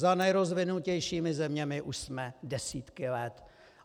Za nejrozvinutějšími zeměmi už jsme desítky let.